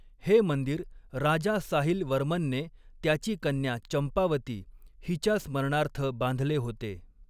हे मंदिर राजा साहिल वर्मनने त्याची कन्या चंपावती हिच्या स्मरणार्थ बांधले होते.